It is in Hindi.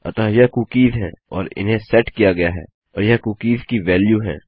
अतः यह कुकीज़ है और इन्हें सेट किया गया है और यह कुकीज़ की वेल्यू है